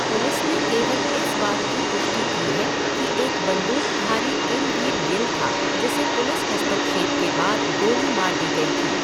Police ने केवल इस बात की पुष्टि की है कि एक बंदूकधारी किमवीर गिल था, जिसे पुलिस हस्तक्षेप के बाद गोली मार दी गई थी।